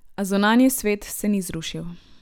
A zunanji svet se ni zrušil.